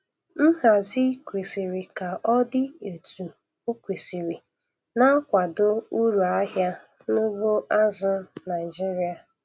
Nhazi kwesiri ka o dị etu o kwesiri na-akwado uru ahịa n'ugbo azụ̀ Naịjiria.